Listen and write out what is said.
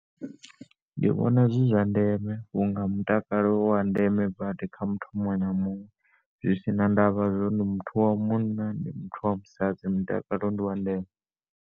Ndi vhona zwi zwa ndeme vhunga mutakalo uwa ndeme badi kha muthu muṅwe na muṅwe zwi sina ndavha zwori ndi muthu wa munna ndi muthu wa musadzi mutakalo ndiwa ndeme.